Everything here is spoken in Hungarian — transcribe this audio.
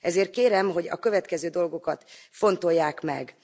Ezért kérem, hogy a következő dolgokat fontolják meg.